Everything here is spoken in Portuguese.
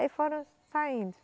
Aí foram saindo.